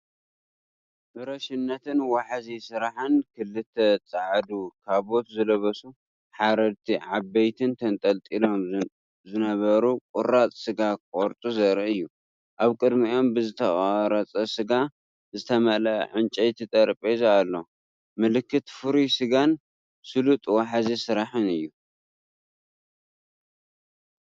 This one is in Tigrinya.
ፍረሽነትን ዋሕዚ ስራሕን ፣ክልተ ጻዕዳ ካቦት ዝለበሱ ሓራድቲ ዓበይቲን ተንጠልጢሎምን ዝነበሩ ቁራጽ ስጋ ክቖርጹ ዘርኢ እዩ። ኣብ ቅድሚኦም ብዝተቖርጸ ስጋ ዝተመልአ ዕንጨይቲ ጠረጴዛ ኣሎ። ምልክት ፍሩይ ስጋን ስሉጥ ዋሕዚ ስራሕን እዩ።